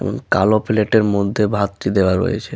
এবং কালো প্লেট এর মধ্যে ভাত টি দেওয়া রয়েছে।